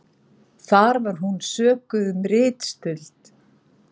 Þar var hún sökuð um ritstuld